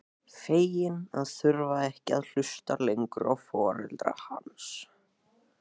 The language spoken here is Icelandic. Fegin að þurfa ekki að hlusta lengur á foreldra hans.